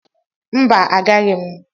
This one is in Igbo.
mba agaghi m.